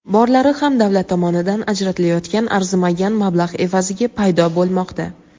Borlari ham davlat tomonidan ajratilayotgan arzimagan mablag‘ evaziga paydo bo‘lmoqda.